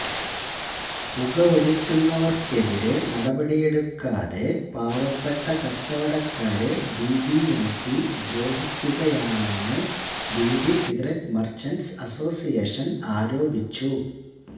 പുകവലിക്കുന്നവര്ക്കെതിരെ നടപടിയെടുക്കാതെ പാവപ്പെട്ട കച്ചവടക്കാരെ ബിബിഎംപി ദ്രോഹിക്കുകയാണെന്നു ബീഡി സിഗരറ്റ് മര്ച്ചന്റ്സ് അസോസിയേഷന് ആരോപിച്ചു